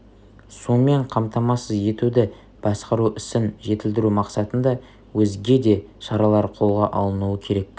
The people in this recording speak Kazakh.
сумен қамтамасыз етуді басқару ісін жетілдіру мақсатында өзге де шаралар қолға алынуы керек